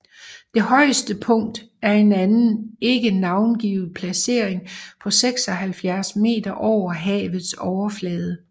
Det højeste punkt er en anden ikke navngivet placering på 76 meter over havets overflade